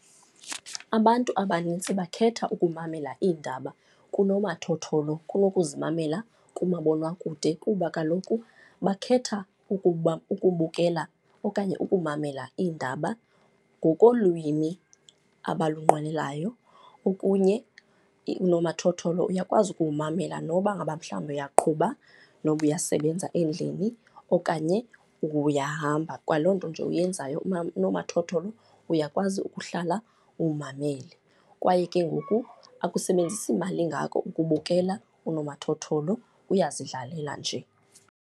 Abantu abanintsi bakhetha ukumamela iindaba kunomathotholo kunokuzimamela kumabonwakude kuba kaloku bakhetha ukubukela okanye ukumamela iindaba ngokolwimi abalunqwenelayo. Okunye unomathotholo uyakwazi ukuwumamela noba ngaba mhlawumbi uyaqhuba, noba uyasebenza endlini okanye uyahamba, kwaloo nto nje uyenzayo unomathotholo uyakwazi ukuhlala uwumamele. Kwaye ke ngoku akusebenzisi mali ingako ukubukela unomathotholo, uyazidlalela nje